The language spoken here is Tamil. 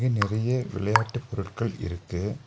இங்க நெறைய விளயாட்டு பொருட்கள் இருக்கு.